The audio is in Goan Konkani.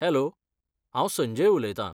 हॅलो, हांव संजय उलयतां.